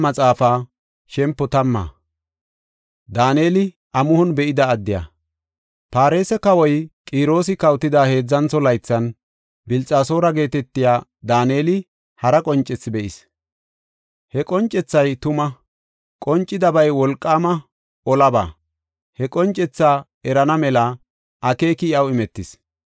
Farse kawoy Qiroosi kawotida heedzantho laythan, Bilxasoora geetetiya Daaneli hara qoncethi be7is. He qoncethay tuma; qoncidabay wolqaama olaba. He qoncethaa erana mela akeeki iyaw imetis.